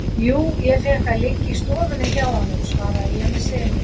Jú, ég fékk að liggja í stofunni hjá honum, svaraði ég með semingi.